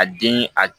A den a